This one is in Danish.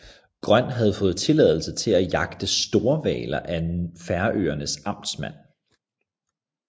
Grøn havde fået tilladelse til at jagte storhvaler af Færøernes amtmand